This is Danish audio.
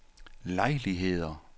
lejligheder